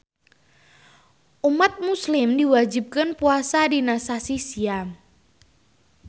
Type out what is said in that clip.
Umat muslim diwajibkeun puasa dina sasih siam